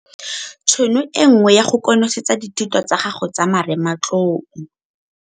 Tšhono e nngwe ya go konosetsa dithuto tsa gago tsa marematlou.